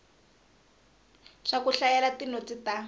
swa ku hlayela tinotsi ta